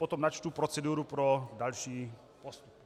Potom načtu proceduru pro další postup.